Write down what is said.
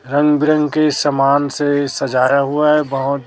रंग बिरंगे के समान से सजाया हुआ है बहोत।